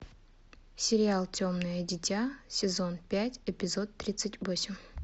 сериал темное дитя сезон пять эпизод тридцать восемь